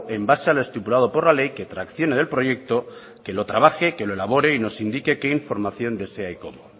en base a lo estipulado por la ley que traccione del proyecto que lo trabaje que lo elabore y que nos indique qué información desea y cómo